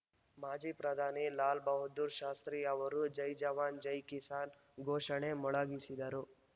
ಮಾಜಿ ಪ್ರಧಾನಿ ಲಾಲ್‌ ಬಹಾದ್ದೂರ್‌ ಶಾಸ್ತ್ರಿ ಅವರು ಜೈಜವಾನ್‌ ಜೈ ಕಿಸಾನ್‌ ಘೋಷಣೆ ಮೊಳಗಿಸಿದ್ದರು